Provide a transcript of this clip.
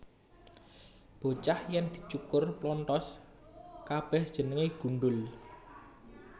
Bocah yèn dicukur plonthos kabèh jenengé gundhul